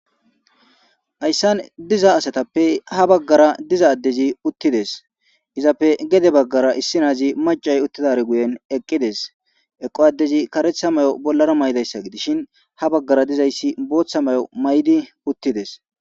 hayssan diza asatappe ha baggara diza addezi uttides. izappe gede baggara issi naazi macay uttidare guyen eqqides eqo addezi karetha may'o bollara maydayssa gidishin ha baggara dizayssi booththa mayo maydi uttides.